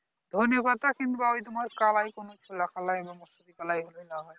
ধনেপাতা কিংবা ওই তোমার কলাই কোনো কিছু লাগালো কলাই হয়